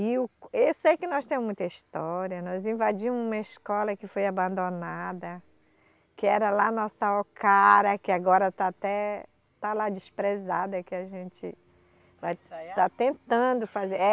E o, esse é que nós temos muita história, nós invadimos uma escola que foi abandonada, que era lá a nossa Ocara, que agora está até... está lá desprezada, que a gente. Vai ensaiar? Está tentando fazer. É.